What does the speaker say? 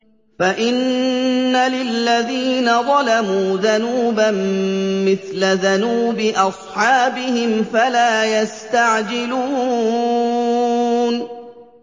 فَإِنَّ لِلَّذِينَ ظَلَمُوا ذَنُوبًا مِّثْلَ ذَنُوبِ أَصْحَابِهِمْ فَلَا يَسْتَعْجِلُونِ